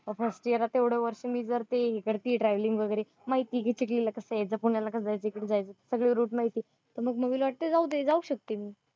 एवढया वर्षानि ती करतेय travelling वैगरे माहिती घेतेय कि एकदा पुण्याला कसं जायच इकडून जायच सगळे route माहितेय, मग mummy ला वाटतं जाऊदे जाऊ शकते मी